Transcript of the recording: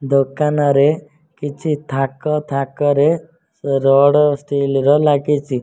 ଦୋକାନରେ କିଛି ଥାକ ଥାକରେ ରଡ୍ ଷ୍ଟିଲ ର ଲାଗିଚି।